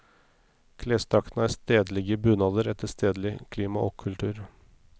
Klesdraktene er stedlige bunader etter stedlig klima og kultur.